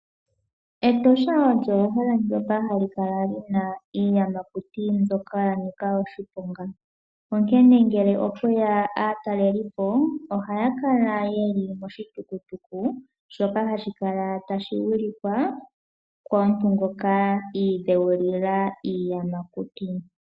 Etosha olyo ehala ndyoka hali kala lina iiyamakuti mbyoka ya nika oshiponga. Onkene ngele okweya aatalelipo ohaya kala yeli moshitukutuku shoka hashi kala tashi wilikwa komuntu ngoka iidhewulila iiyamakuti.